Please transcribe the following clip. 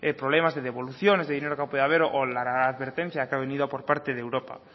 problemas de devoluciones de dinero que ha podido haber o la advertencia que ha venido por parte del europa